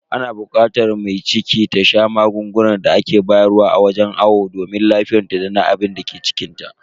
Ana bukatar mai ciki ta sha magungunan da ake bayar wa a wajen awo domin lafiyarta dana abinda ke cikinta.